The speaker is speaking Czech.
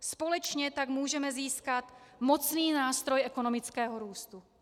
Společně tak můžeme získat mocný nástroj ekonomického růstu.